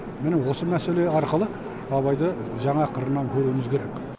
міні осы мәселе арқылы абайды жаңа қырынан көруіміз керек